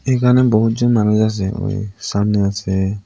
এখানে বহুতজন মানুষ আছে এবং সামনেও আছে।